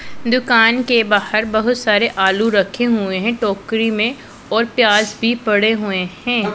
दुकान के बाहर बहोत सारे आलू रखे हुए हैं टोकरी में और प्याज भी पड़े हुए हैं।